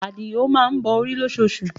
Adio má ń bọ orí lóṣoosù